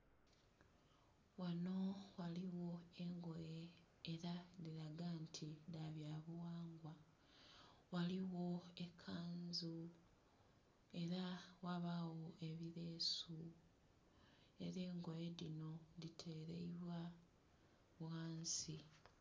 Ghano ghaliwo engoye era dhiraga nti dhabya buwangwa ghaliwo ekanzu era ghabawo ebileesu era engoye dhino dhiteleibwa ghansi.